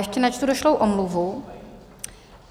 Ještě načtu došlou omluvu.